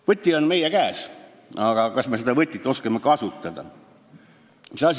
Võti on meie käes, aga kas me oskame seda kasutada?